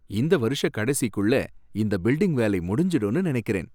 இந்த வருஷக் கடைசிக்குள்ள இந்த பில்டிங் வேலை முடிஞ்சுடும்னு நினைக்கிறேன்.